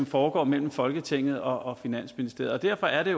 foregår mellem folketinget og finansministeriet og derfor er det